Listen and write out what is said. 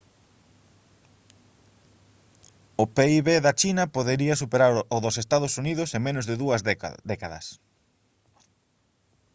o pib da china podería superar o dos ee uu en menos de dúas décadas